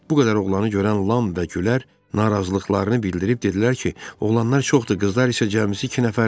Bu qədər oğlanı görən Lan və Gülər narazılıqlarını bildirib dedilər ki, oğlanlar çoxdur, qızlar isə cəmisi iki nəfərdir.